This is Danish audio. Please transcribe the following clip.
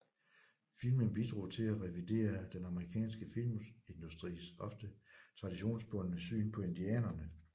Filmen bidrog til at revidere den amerikanske filmindustris ofte traditionsbundne syn på indianerne